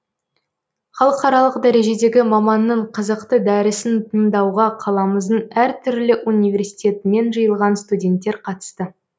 халықаралық дәрежедегі маманның қызықты дәрісін тыңдауға қаламыздың әр түрлі университетінен жиылған студенттер қатысты